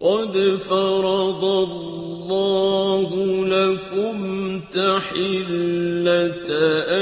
قَدْ فَرَضَ اللَّهُ لَكُمْ تَحِلَّةَ